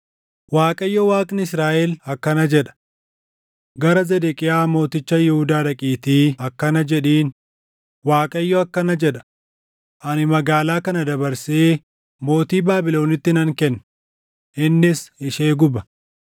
“ Waaqayyo Waaqni Israaʼel akkana jedha: Gara Zedeqiyaa mooticha Yihuudaa dhaqiitii akkana jedhiin; ‘ Waaqayyo akkana jedha: Ani magaalaa kana dabarsee mootii Baabilonitti nan kenna; innis ishee guba.